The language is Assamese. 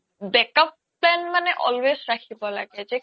back up plan মানে always ৰাখিব লাগে